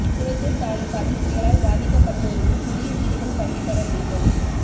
குளத்தூர் தாலுகாவில் புயலால் பாதிக்கப்பட்டோருக்கு புதிய வீடுகள் கட்டி தர வேண்டும்